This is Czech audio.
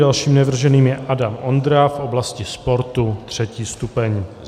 Dalším navrženým je Adam Ondra v oblasti sportu, 3. stupeň.